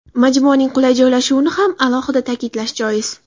Majmuaning qulay joylashuvini ham alohida ta’kidlash joiz.